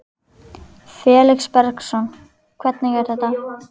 Felix Bergsson: Hvernig er þetta?